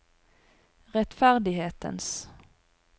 rettferdighetens